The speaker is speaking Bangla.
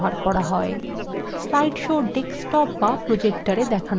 slide shows desktop be projectors দেখানো যেতে পারে